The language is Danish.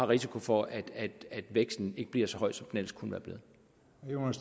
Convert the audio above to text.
risiko for at væksten ikke bliver så høj som den ellers kunne